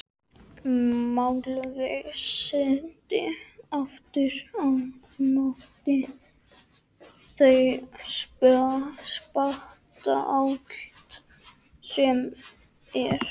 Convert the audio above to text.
Málvísindi, aftur á móti, þau spanna allt sem er.